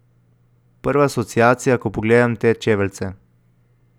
Prva asociacija, ko pogledam te čeveljce.